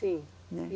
Sim, né.